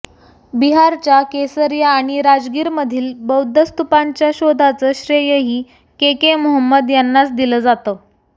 बिहारच्या केसरिया आणि राजगीरमधील बौद्ध स्तूपांच्या शोधाचं श्रेयही के के मोहम्मद यांनाच दिलं जातं